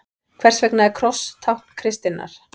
Hvers vegna er kross tákn kristninnar?